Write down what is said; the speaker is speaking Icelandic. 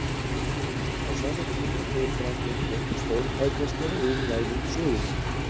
Á sama tíma fór fram einhver stórtækasta iðnvæðing sögunnar.